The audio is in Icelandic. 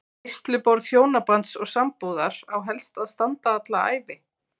Veisluborð hjónabands og sambúðar á helst að standa alla ævi.